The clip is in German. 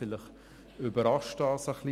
Vielleicht überrascht dies etwas.